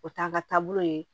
O t'an ka taabolo ye